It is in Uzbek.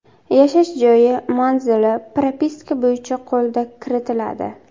Yashash joyi manzili propiska bo‘yicha qo‘lda kiritiladi.